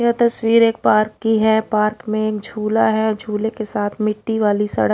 यह तस्वीर एक पार्क की है पार्क में झुला है झूले के साथ में मिट्टी वाली सड़क--